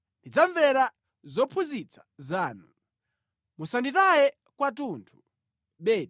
Ndidzamvera zophunzitsa zanu; musanditaye kwathunthu.